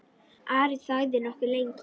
Ari þagði nokkuð lengi.